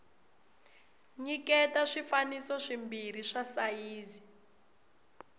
nyiketa swifaniso swimbirhi swa sayizi